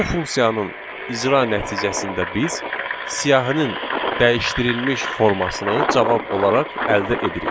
Bu funksiyanın icra nəticəsində biz siyahının dəyişdirilmiş formasını cavab olaraq əldə edirik.